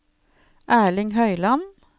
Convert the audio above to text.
Erling Høyland